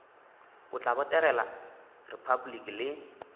o tla botegela repabliki le